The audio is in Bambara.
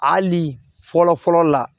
Hali fɔlɔ fɔlɔ la